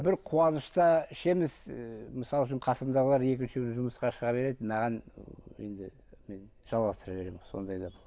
бір қуанышта ішеміз ыыы мысалы үшін қасымдағылар екінші күні жұмысқа шыға береді маған ы енді мен жалғастыра беремін сондай да